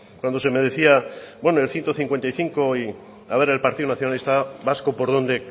cuando se me decía el ciento cincuenta y cinco y a ver el partido nacionalista vasco por dónde